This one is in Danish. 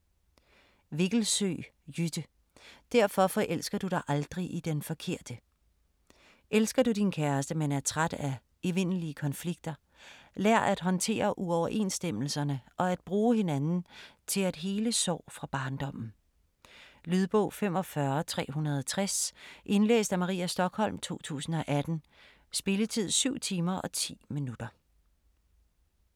Vikkelsøe, Jytte: Derfor forelsker du dig aldrig i den forkerte Elsker du din kæreste, men er træt af evindelige konflikter? Lær at håndtere uoverensstemmelserne og at bruge hinanden til at hele sår fra barndommen. Lydbog 45360 Indlæst af Maria Stokholm, 2018. Spilletid: 7 timer, 10 minutter.